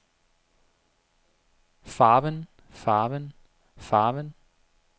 farven farven farven